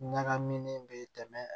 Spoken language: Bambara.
Ɲagaminen bɛ tɛmɛ